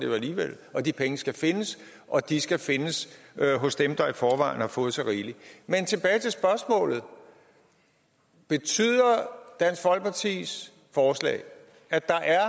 jo alligevel og de penge skal findes og de skal findes hos dem der i forvejen har fået så rigeligt men tilbage til spørgsmålet betyder dansk folkepartis forslag at der er